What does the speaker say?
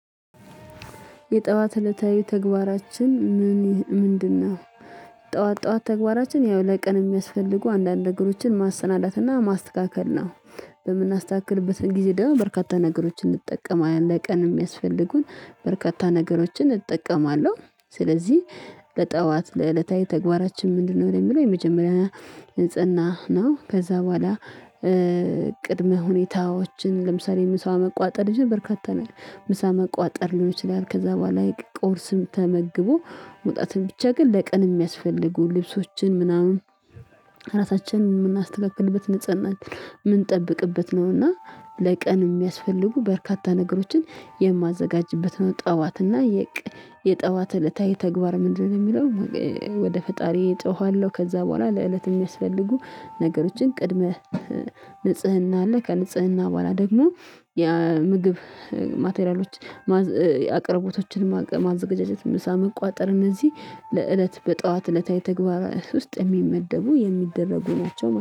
የጠዋት እለታዊ ተግባራችን ምን ምንድነው? ጠዋት ጠዋት ተግባራችን ያው ለቀን የሚያስፈልጉ አንዳንድ ነገሮችን ማሰናዳትና ማስተካከል ነው። በምናስተካክልበት ጊዜ ደግሞ በርካታ ነገሮችን እንጠቀማለን ለቀን የሚያስፈልጉን በርካታ ነገሮችን እጠቀማለሁ ስለዚህ ለጠዋት ለዕለታዊ ተግባራችን ምንድነው ለሚለው የመጀመሪያ ንጽህና ነው። ከዛ በኋላ ቅድመ ሁኔታዎችን ለምሳሌ ምሳ መቋጠር ሚችል በርካታ ነው ምሳ መቋጠርም ይችላል። ከዛ በኋላ የቅ ቁርስም ተመግቦ መውጣትም ብቻ ግን ለቀን የሚያስፈልጉ ልብሶችን ምናምን ራሳችንን የምናስተካክልበት ንፅህናችን የምንጠብቅበት ነው እና ለቀን የሚያስፈልጉ በርካታ ነገሮችን የማዘጋጅበት ነው ጠዋት እና የቀ የጠዋት እለታዊ ተግባር ምንድነው? የሚለው ወደ ፈጣሪዬ ጮሃለሁ ከዛ በኋላ ለእለት የሚያስፈልጉ ነገሮችን ቅድመ ንጽህና አለ ከንጽህና በኋላ ደግሞ የምግብ ማቴሪያሎች ማዝ የአቅርቦቶችን ማግ ማዘጋጀት ምሳ መቋጠር እነዚህ ለእለት በጧት እለታዊ ተግባራት ውስጥ የሚመደቡ የሚደረጉ ናቸው ማለት